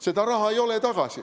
Seda raha ei ole tagasi.